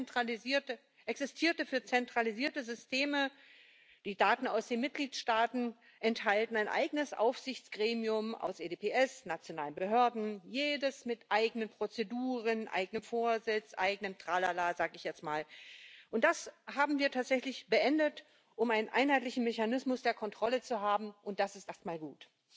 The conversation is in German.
Bisher existierte für zentralisierte Systeme, die Daten aus den Mitgliedstaaten enthalten, ein eigenes Aufsichtsgremium aus EDSB, nationalen Behörden, jedes mit eigenen Prozeduren, eigenem Vorsitz, eigenem Tralala, sag ich jetzt mal. Das haben wir tatsächlich beendet, um einen einheitlichen Mechanismus der Kontrolle zu haben. Und das ist erst mal gut.